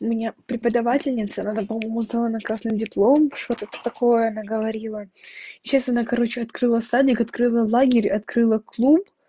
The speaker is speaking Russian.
у меня преподавательница она по-моему сдала на красный диплом что-то такое она говорила и сейчас она короче открыла садик открыла лагерь открыла клуб